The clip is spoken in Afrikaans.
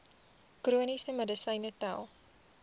chroniese medisyne tel